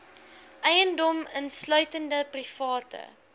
eiendom insluitende private